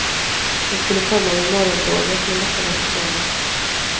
Hon skulle komma med morgontåget, men detta var försenat.